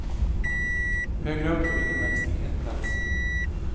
Högre upp får ingen växtlighet plats.